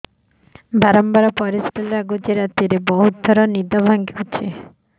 ବାରମ୍ବାର ପରିଶ୍ରା ଲାଗୁଚି ରାତିରେ ବହୁତ ଥର ନିଦ ଭାଙ୍ଗୁଛି